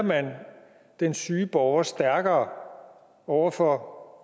den syge borger stærkere over for